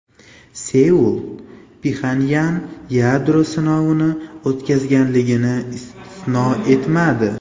Seul Pxenyan yadro sinovini o‘tkazganligini istisno etmadi.